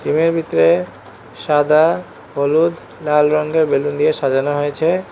Room এর ভিতরে সাদা হলুদ লাল রঙ্গের বেলুন দিয়ে সাজানো হয়েছে।